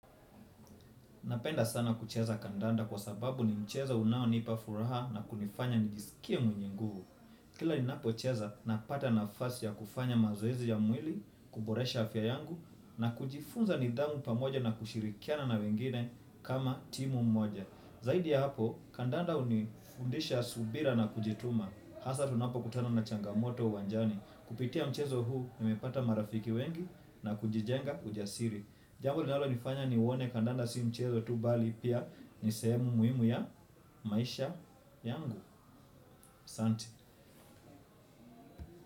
Napenda sana kucheza kandanda kwa sababu ni mchezo unaonipa furaha na kunifanya nijisikie mwenye nguvu. Kila ni napocheza napata nafasi ya kufanya mazoezi ya mwili, kuboresha afya yangu na kujifunza nidhamu pamoja na kushirikiana na wengine kama timu moja. Zaidi ya hapo, kandanda hunifundisha subira na kujituma. Hasa tunapo kutana na changamoto uwanjani kupitia mchezo huu nimepata marafiki wengi na kujijenga ujasiri. Jambo linalo nifanya nione kandanda si mchezo tu bali pia ni sehemu muimu ya maisha yangu asanti.